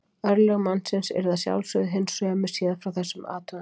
Örlög mannsins yrðu að sjálfsögðu hin sömu séð frá þessum athuganda.